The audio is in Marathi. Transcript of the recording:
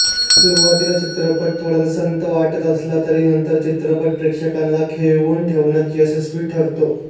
सुरुवातीला चित्रपट थोडासा संथ वाटत असला तरी नंतर चित्रपट प्रेक्षकांना खिळवून ठेवण्यात यशस्वी ठरतो